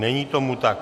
Není tomu tak.